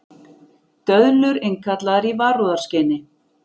Döðlur innkallaðar í varúðarskyni